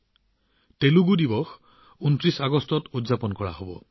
২৯ আগষ্টৰ দিনটো তেলেগু দিৱস হিচাপে পালন কৰা হব